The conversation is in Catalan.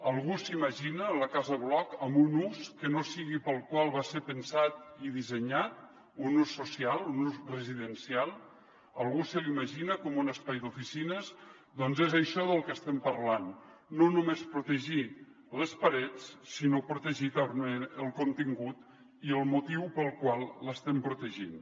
algú s’imagina la casa bloc amb un ús que no sigui pel qual va ser pensat i dissenyat un ús social un ús residencial algú se l’imagina com un espai d’oficines doncs és això del que estem parlant no només protegir les parets sinó protegir el contingut i el motiu pel qual l’estem protegint